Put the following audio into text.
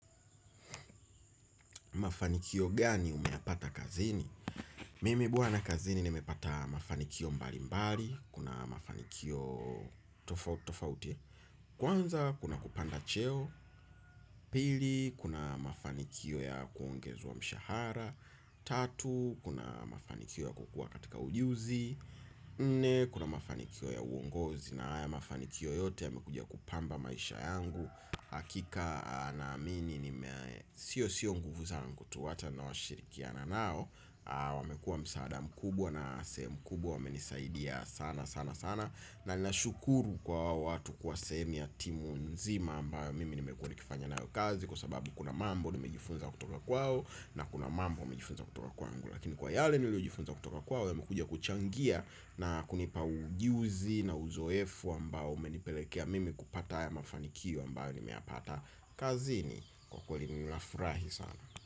Mafanikio gani umeyapata kazini? Mimi bwana kazini nimepata mafanikio mbali mbali. Kuna mafanikio tofauti. Kwanza, kuna kupanda cheo. Pili, kuna mafanikio ya kuongezwa mshahara. Tatu, kuna mafanikio ya kukua katika ujuzi. Nne, kuna mafanikio ya uongozi. Na haya mafanikio yote yamekuja kupamba maisha yangu. Hakika naamini nime sio sio nguvu zangu tu hata na washirikiana nao. Wamekua msaada mkubwa na sehemu kubwa wamenisaidia sana sana sana. Na nashukuru kwa watu kwa sehemu ya timu nzima ambayo mimi nimekua nikifanya nayo kazi. Kwa sababu kuna mambo nimejifunza kutoka kwao na kuna mambo nimejifunza kutoka kwangu. Lakini kwa yale nilijifunza kutoka kwao yamekuja kuchangia na kunipa ujuzi na uzoefu ambao umenipelekea mimi kupata haya mafanikio ambayo nimeyapata kazini. Kwa kweli ninafurahi sana.